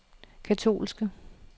katolske